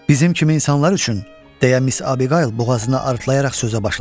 Bizim kimi insanlar üçün, deyə mis Abiqayl boğazını arıtlayaraq sözə başladı.